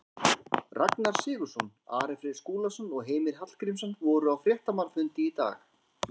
Ragnar Sigurðsson, Ari Freyr Skúlason og Heimir Hallgrímsson voru á fréttamannafundi í dag.